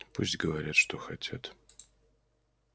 пусть говорят что хотят